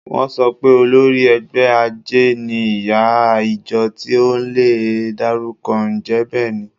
Wọ́n sọ pé olórí ẹgbẹ́ àjẹ́ ni ìyá ìjọ tí a ò lè dárúkọ. Ǹjẹ́ bẹ́ẹ̀ ni?